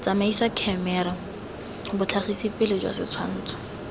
tsamaisa khemera botlhagisipele jwa setshwantsho